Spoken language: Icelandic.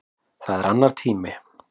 Það er annar tími.